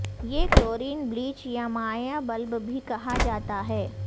یہ chlorine bleach یا مائع بلب بھی کہا جاتا ہے